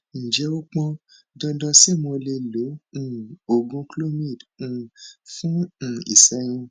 ǹjẹ ó pọn dandan ṣé mo lè lo um oògùn clomid um fún um ìṣẹyún